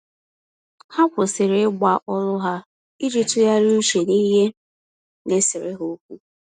Ha kwụsịrị Ịgba olu ha, iji tụgharịa uche n'ihe naesere ha ókwú